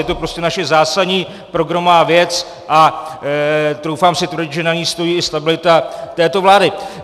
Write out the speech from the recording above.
Je to prostě naše zásadní programová věc a troufám si tvrdit, že na ní stojí i stabilita této vlády.